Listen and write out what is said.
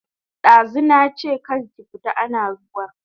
Dazu nache kar ki fita ana ruwan sama